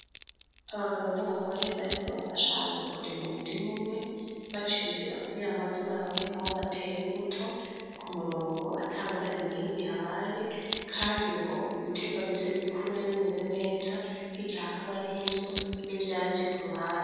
Abagabo n'abagore bariko bafashanya kurima umurim'umwe bac'inzira kugira ngo baze baronke aho bater'imbuto k'umurongo ata ngorane nimw' ihabaye kandi ngo ibiterwa bize bikure bimeze neza nk'igihe hakaba harih'inzu , n 'ivyatsi k'uruhande.